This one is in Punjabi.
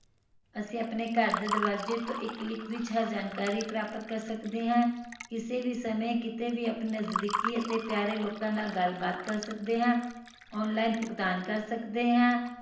ਅਸੀਂ ਆਪਣੇ ਘਰ ਦੇ ਦਰਵਾਜੇ ਤੋਂ ਇਕ click ਵਿਚ ਆਪਣੀ ਜਾਣਕਾਰੀ ਪ੍ਰਾਪਤ ਕਰ ਸਕਦੇ ਹਾਂ ਕਿਸੇ ਵੀ ਸਮੇ ਕਿਤੇ ਵੀ ਆਪਣੇ ਜ਼ਾਜ਼ੀਕਿ ਅਤੇ ਪਿਆਰੇ ਲੋਕਾਂ ਨਾਲ ਗੱਲ ਬਾਤ ਕਰ ਸਕਦੇ ਹਾਂ online ਭੁਗਤਾਨ ਕਰ ਸਕਦੇ ਹਾਂ